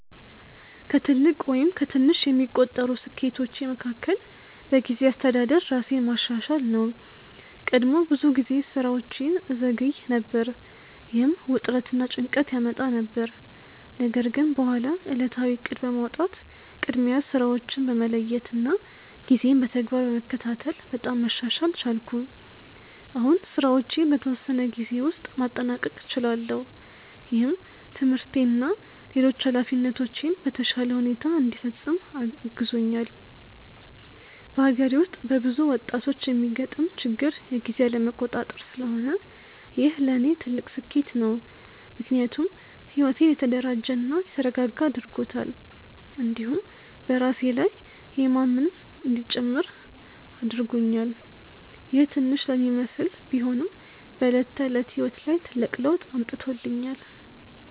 ከትልቅ ወይም ከትንሽ የሚቆጠሩ ስኬቶቼ መካከል በጊዜ አስተዳደር ራሴን ማሻሻል ነው። ቀድሞ ብዙ ጊዜ ስራዎቼን እዘገይ ነበር፣ ይህም ውጥረት እና ጭንቀት ያመጣ ነበር። ነገር ግን በኋላ ዕለታዊ እቅድ በማውጣት፣ ቅድሚያ ስራዎችን በመለየት እና ጊዜን በተግባር በመከታተል በጣም መሻሻል ቻልኩ። አሁን ስራዎቼን በተወሰነ ጊዜ ውስጥ ማጠናቀቅ እችላለሁ፣ ይህም ትምህርቴን እና ሌሎች ኃላፊነቶቼን በተሻለ ሁኔታ እንዲፈጽም አግዞኛል። በአገሬ ውስጥ በብዙ ወጣቶች የሚገጥም ችግር የጊዜ አለመቆጣጠር ስለሆነ ይህ ለእኔ ትልቅ ስኬት ነው። ምክንያቱም ሕይወቴን የተደራጀ እና የተረጋጋ አድርጎታል፣ እንዲሁም በራሴ ላይ የማምን እንዲጨምር አድርጎኛል። ይህ ትንሽ ለሚመስል ቢሆንም በዕለት ተዕለት ሕይወት ላይ ትልቅ ለውጥ አምጥቶኛል።